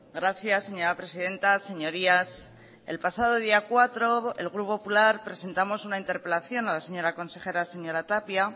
gracias señora presidenta señorías el pasado día cuatro el grupo popular presentamos una interpelación a la señora consejera señora tapia